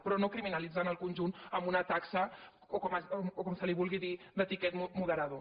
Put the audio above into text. però no criminalitzar el conjunt amb una taxa o com se li vulgui dir de ti·quet moderador